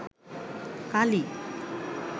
কালি